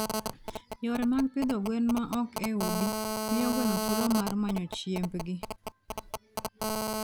Yore mag pidho gwen ma ok e udi, miyo gweno thuolo mar manyo chiembgi.